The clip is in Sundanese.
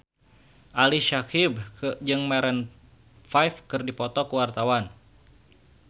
Ali Syakieb jeung Maroon 5 keur dipoto ku wartawan